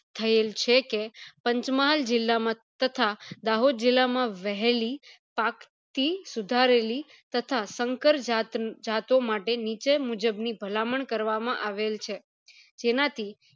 થયેલ છે કે પંચમહાલ જીલ્લા માં તથા દાહોદ જીલ્લા માંથી વહેલી પાક થી સુધારેલી તથા સંકર જાત જતો માટે નીચે મુજબ ની ભલામણ કરવા માં આવેલ છે જેનાથી